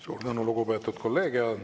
Suur tänu, lugupeetud kolleeg!